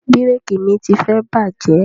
Bíréékì mi tifẹ bàjẹ́